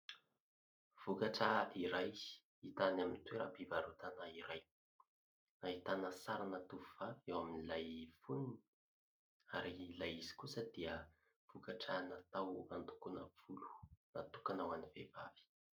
Vokatra iray hita any amin'ny toeram-pivarotana iray. Ahitana sarina tovovavy eo amin'ilay foniny ary ilay izy kosa dia vokatra natao handokoana volo natokana ho an'ny vehivavy.